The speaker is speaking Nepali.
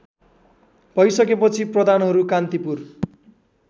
भइसकेपछि प्रधानहरू कान्तिपुर